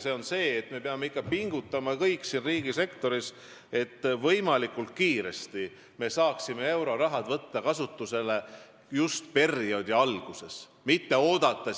See on see, et me peame kõik riigisektoris pingutama, et me saaksime võimalikult kiiresti euroraha kasutusele võtta just perioodi alguses, mitte oodata